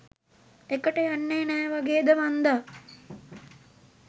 එකට යන්නෙ නෑ වගේද මංදා.